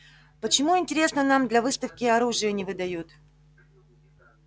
почему интересно нам для выставки оружие не выдают